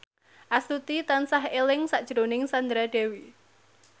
Astuti tansah eling sakjroning Sandra Dewi